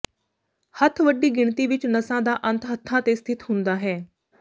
ਹੱਥ ਵੱਡੀ ਗਿਣਤੀ ਵਿਚ ਨਸਾਂ ਦਾ ਅੰਤ ਹੱਥਾਂ ਤੇ ਸਥਿਤ ਹੁੰਦਾ ਹੈ